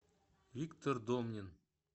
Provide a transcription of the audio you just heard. виктор домнин